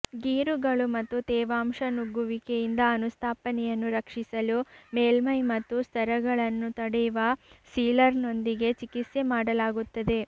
ಗೀರುಗಳು ಮತ್ತು ತೇವಾಂಶ ನುಗ್ಗುವಿಕೆಯಿಂದ ಅನುಸ್ಥಾಪನೆಯನ್ನು ರಕ್ಷಿಸಲು ಮೇಲ್ಮೈ ಮತ್ತು ಸ್ತರಗಳನ್ನು ತಡೆಯುವ ಸೀಲರ್ನೊಂದಿಗೆ ಚಿಕಿತ್ಸೆ ಮಾಡಲಾಗುತ್ತದೆ